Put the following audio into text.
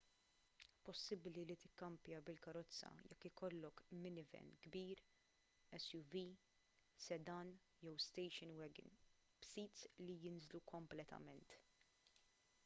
possibbli li tikkampja bil-karozza jekk ikollok minivan kbir suv sedan jew station wagon b'sits li jinżlu kompletament